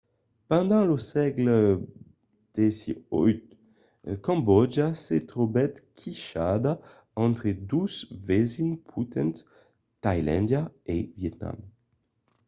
pendent lo sègle xviii cambòtja se trobèt quichada entre dos vesins potents tailàndia e vietnam